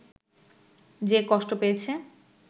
যে কষ্ট পেয়েছে